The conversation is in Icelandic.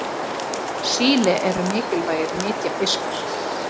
Síli eru mikilvægir nytjafiskar.